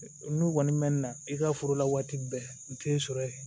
N'u kɔni mɛnna i ka foro la waati bɛɛ u tɛ sɔrɔ yen